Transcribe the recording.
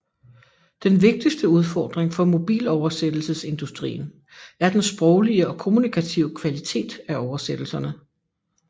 Den vigtigste udfordring for mobiloversættelsesindustrien er den sproglige og kommunikative kvalitet af oversættelserne